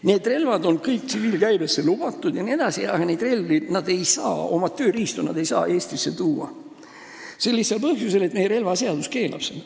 Need on kõik tsiviilkäibesse lubatud, aga nad ei saa neid relvi, oma tööriistu Eestisse tuua sel lihtsal põhjusel, et meie relvaseadus keelab seda.